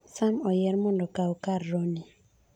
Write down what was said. Sam oyier mondo okaw kar Roni